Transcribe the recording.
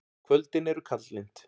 Kvöldin eru kaldlynd.